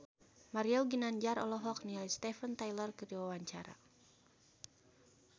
Mario Ginanjar olohok ningali Steven Tyler keur diwawancara